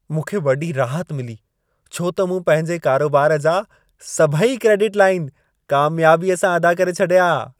मूंखे वॾी राहत मिली छो त मूं पंहिंजे कारोबार जा सभई क्रेडिट लाइन कामियाबीअ सां अदा करे छॾिया।